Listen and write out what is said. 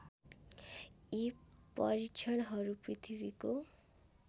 यी परीक्षणहरू पृथ्वीको